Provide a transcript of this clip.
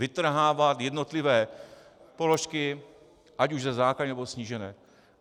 Vytrhávat jednotlivé položky, ať už ze základní, nebo snížené...